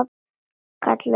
Kallaði á pabba.